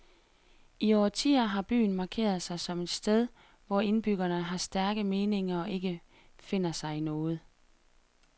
I årtier har byen markeret sig som et sted, hvor indbyggerne har stærke meninger og ikke finder sig i noget.